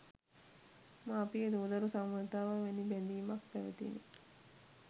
මාපිය දූ දරු සබඳතාව වැනි බැඳීමක් පැවතිණ.